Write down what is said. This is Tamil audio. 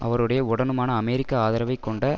அவருடைய உடனுமான அமெரிக்க ஆதரவைக் கொண்ட